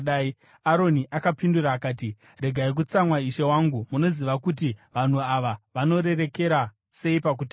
Aroni akapindura akati, “Regai kutsamwa, ishe wangu. Munoziva kuti vanhu ava vanorerekera sei pakutadza.